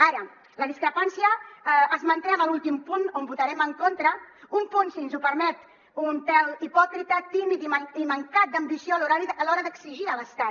ara la discrepància es manté en l’últim punt on votarem en contra un punt si ens ho permet un pèl hipòcrita tímid i mancat d’am·bició a l’hora d’exigir a l’estat